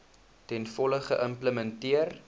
ten volle geïmplementeer